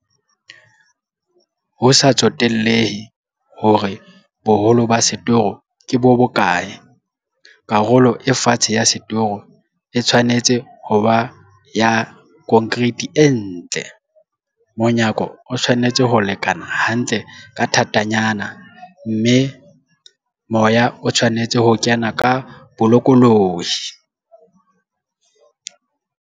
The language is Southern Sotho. Ho sa tsotellehe hore boholo ba setoro ke bo bokae, karolo e fatshe ya setoro e tshwanetse ho ba ya konkreiti e ntle, monyako o tshwanetse ho lekana hantle ka thatanyana, mme moya o tshwanetse ho kena ka bolokolohi.